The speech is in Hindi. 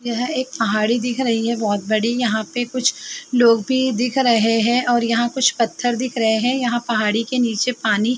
यह एक पहाड़ी दिख रही है बहोत बड़ी। यहाँ पे कुछ लोग भी दिख रहे हैं और यहां कुछ पत्थर दिख रहे हैं। यहाँ पहाड़ी के नीचे पानी --